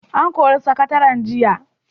An kori sakataren jiya.